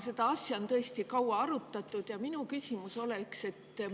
Seda asja on tõesti kaua arutatud ja minu küsimus on.